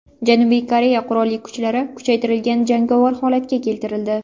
Janubiy Koreya qurolli kuchlari kuchaytirilgan jangovar holatga keltirildi.